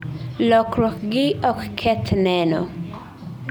lokruok gi ok keth neno